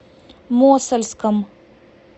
мосальском